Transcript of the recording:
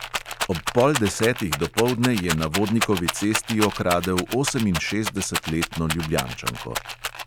Ob pol desetih dopoldne je na vodnikovi cesti okradel oseminšestdesetletno ljubljančanko.